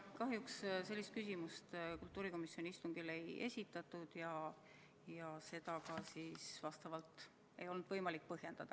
Kahjuks sellist küsimust kultuurikomisjoni istungil ei esitatud ja seetõttu ei olnud seda võimalik ka põhjendada.